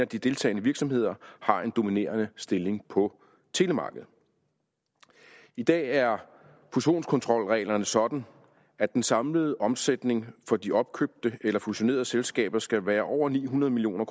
de deltagende virksomheder har en dominerende stilling på telemarkedet i dag er fusionskontrolreglerne sådan at den samlede omsætning for de opkøbte eller fusionerede selskaber skal være over ni hundrede million